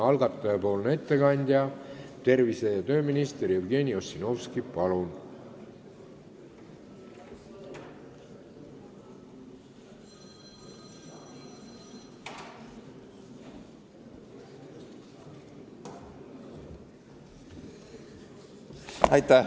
Algatajapoolne ettekandja tervise- ja tööminister Jevgeni Ossinovski, palun!